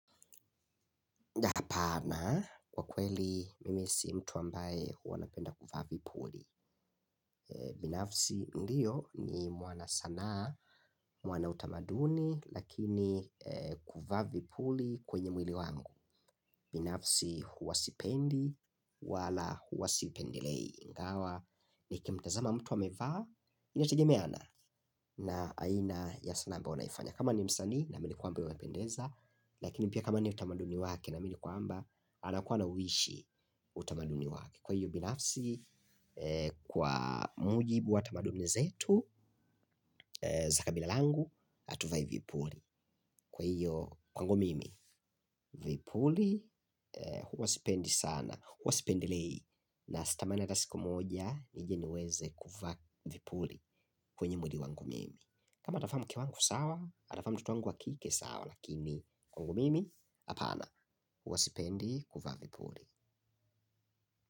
Hapana, kwa kweli mimi si mtu ambaye anapenda kuvaa vipuli. Binafsi ndiyo ni mwana sana, mwana utamaduni, lakini kuvaa vipuli kwenye mwili wangu. Binafsi huwasipendi wala huwasipendelei. Ingawa, nikimtazama mtu wamevaa, inategemeana na aina ya sanaa ambayo unaifanya. Kama ni msanii na nilikuambia unapendeza. Lakini pia kama ni utamaduni wake naamini kwamba anakuwa na uwishi utamaduni wake. Kwa hiyo binafsi kwa mujibu wa tamaduni zetu kabila langu hatuvai vipuli kwa hiyo kwangu mimi vipuli huwa sipendi sana. Huwa sipendelei na sitamani hata siku moja nije niweze kuvaa vipuli kwenye mwili wangu mimi. Kama atavaa mke wangu sawa, atavaa mtoto wangu wa kike sawa, lakini kwangu mimi hapana, huwasipendi kuvaa vipuli.